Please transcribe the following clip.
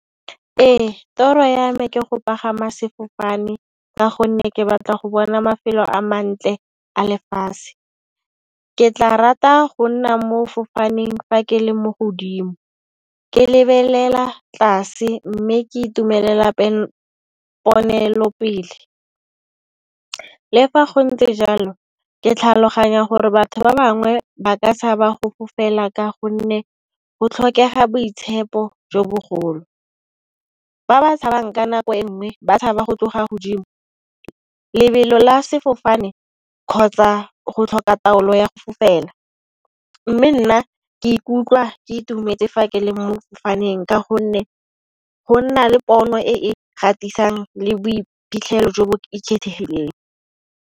Ee toro ya me ke go pagama sefofane ka gonne ke batla go bona mafelo a mantle a lefatshe. Ke tla rata go nna mo fofaneng fa ke le mo godimo, ke lebelela tlase mme ke itumelela ponelopele. Le fa go ntse jalo ke tlhaloganya gore batho ba bangwe ba ka tshaba go fofela ka gonne go tlhokega boitshepo jo bogolo. Ba ba tshabang ka nako e nngwe ba tshaba go tloga godimo lebelo la sefofane kgotsa go tlhoka taolo ya go fofela, mme nna ke ikutlwa ke itumetse fa ke le mo fofaneng ka gonne go nna le pono e kgatlisang le boiphitlhelo jo bo ikgethileng.